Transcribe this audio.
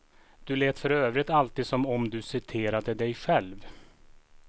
Du lät för övrigt alltid som om du citerade dig själv.